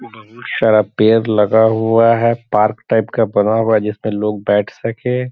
बहुत सारा पेड़ लगा हुआ है पार्क टाइप का बना हुआ है जिसपर लोग बैठ सके।